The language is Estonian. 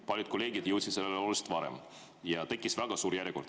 Paljud kolleegid jõudsid selleni oluliselt varem ja tekkis väga suur järjekord.